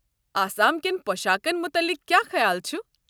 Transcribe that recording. آسام کٮ۪ن پۄشاكن متعلِق کیٛاہ خیال چھُ؟